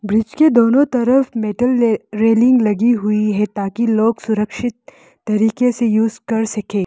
इसके दोनों तरफ मेटल रेलिंग लगी हुई है ताकि लोग सुरक्षित तरीके से यूज कर सके।